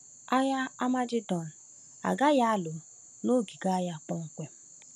Agha Amagedọn agaghị alụ n’ogige agha kpọmkwem.